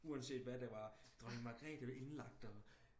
uanset hvad det var dronning magrete indlagt og